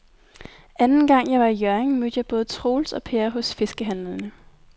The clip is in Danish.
Anden gang jeg var i Hjørring, mødte jeg både Troels og Per hos fiskehandlerne.